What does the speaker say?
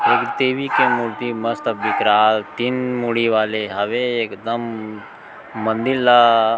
एक देवी के मूर्ति मस्त विकराल तीन मुड़ी वाले हावे एकदम मंदिर ला--